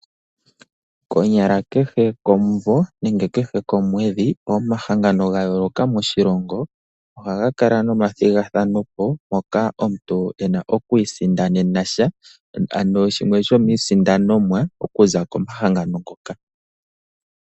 Konyala kehe komumvo nenge kehe komweedhi pomahangano ga yooloka moshilongo, ohaga kala nomathigathano moka omuntu ena oku isindanena sha, ano shimwe sho miisindanomwa okuza komahangano ngoka.